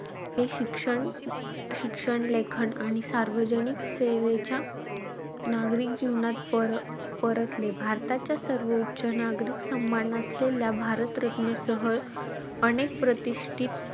हे शिक्षण-शिक्षण, लेखन आणि सार्वजनिक सेवेच्या नागरिक जीवनात पर~ परतले. भारताच्या सर्वोच्च नागरिक सम्मान असलेल्या भारतरत्न सह, अनेक प्रतिष्ठित,